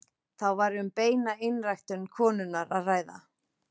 Þá væri um beina einræktun konunnar að ræða.